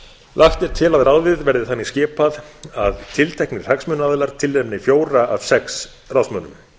lagt er til að ráðið verði þannig skipað að tilteknir hagsmunaaðilar tilnefni fjóra af sex ráðsmönnum